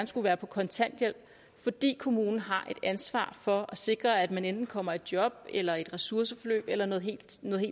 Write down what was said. skal være på kontanthjælp fordi kommunen har et ansvar for at sikre at man enten kommer i job eller i et ressourceforløb eller noget helt